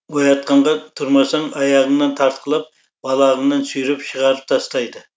оятқанға тұрмасаң аяғыңнан тартқылап балағыңнан сүйреп шығарып тастайды